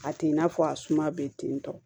A t'i n'a fɔ a suma bɛ tentɔ